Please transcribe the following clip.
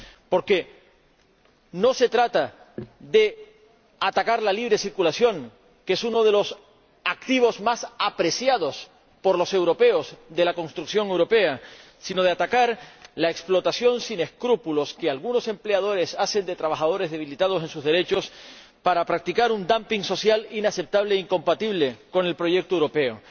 Porque no se trata de atacar la libre circulación, que es uno de los activos de la construcción europea más apreciados por los europeos, sino de atacar la explotación sin escrúpulos que algunos empleadores hacen de trabajadores, debilitados en sus derechos, para practicar un dumping social inaceptable e incompatible con el proyecto europeo.